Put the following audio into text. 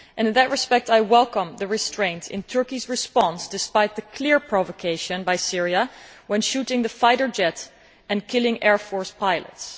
And in that respect I welcome the restraint in Turkey's response despite the clear provocation by Syria in shooting down the fighter jet and killing the air force pilots.